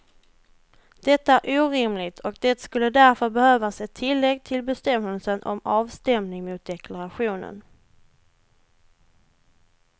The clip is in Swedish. Detta är orimligt och det skulle därför behövas ett tillägg till bestämmelsen om avstämning mot deklarationen.